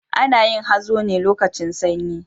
Ana yin hazo ne lokacin sanyi.